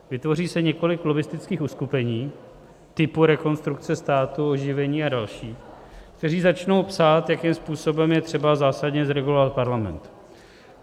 Vytvoří se několik lobbistických uskupení typu Rekonstrukce státu, Oživení a další, která začnou psát, jakým způsobem je třeba zásadně zregulovat Parlament.